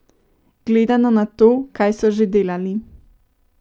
Gledano na to, kaj so že delali.